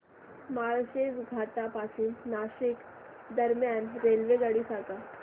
माळशेज घाटा पासून नाशिक दरम्यान रेल्वेगाडी सांगा